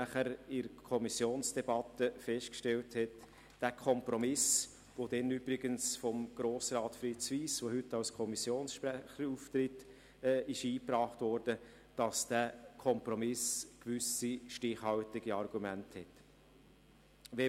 Danach stellte man in der Kommissionsdebatte fest, dass für diesen Kompromiss, der damals übrigens von Grossrat Fritz Wyss eingebracht wurde, der heute als Kommissionssprecher auftritt, gewisse stichhaltige Argumente sprechen.